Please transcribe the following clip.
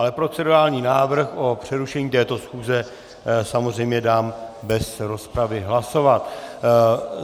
Ale procedurální návrh na přerušení této schůze samozřejmě dám bez rozpravy hlasovat.